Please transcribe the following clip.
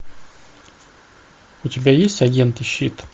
у тебя есть агенты щит